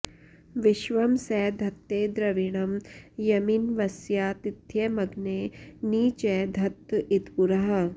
विश्वं॒ स ध॑त्ते॒ द्रवि॑णं॒ यमिन्व॑स्याति॒थ्यम॑ग्ने॒ नि च॑ धत्त॒ इत्पु॒रः